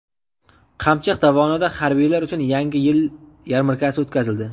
Qamchiq dovonida harbiylar uchun Yangi yil yarmarkasi o‘tkazildi.